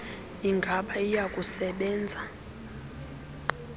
ingaba iya kusebenza